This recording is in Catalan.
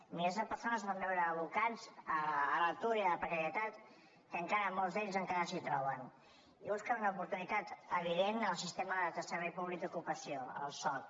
milers de persones es van veure abocats a l’atur i a la precarietat que encara molts d’ells encara s’hi troben i que busquen una oportunitat evident al sistema del servei públic d’ocupació el soc